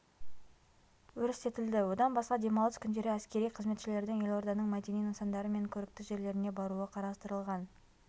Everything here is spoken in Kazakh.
өрістетілді одан басқа демалыс күндері әскери қызметшілердің елорданың мәдени нысандары мен көрікті жерлеріне баруы қарастырылған